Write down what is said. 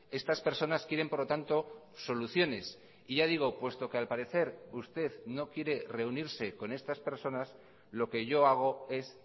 estas personas quieren por lo tanto soluciones y ya digo puesto que al parecer usted no quiere reunirse con estas personas lo que yo hago es